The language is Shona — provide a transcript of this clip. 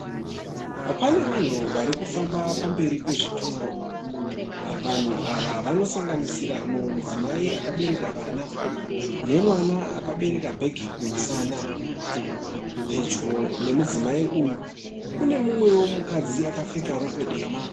Pane vanhu vari kufamba pamberi pezvitoro. Vanhu ava vanosanganisira mudzimai akabereka mwana nemwana akabereka bhegi kumusana. Pedyo nemudzimai uyu kune umwewo mukadzi akapfeka rokwe dema.